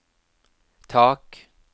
tak